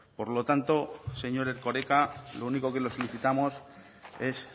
por lo tanto señor erkoreka lo único que lo solicitamos es